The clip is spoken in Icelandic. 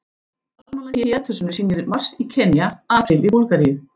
Almanakið í eldhúsinu sýnir mars í Kenýa, apríl í Búlgaríu.